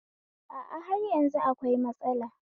A a, har yanzu akwai matsalar